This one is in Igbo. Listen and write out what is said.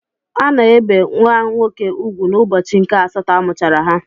Ana ebe nwa nwoke ùgwù n'ụbọchị nke asatọ amụchara ha.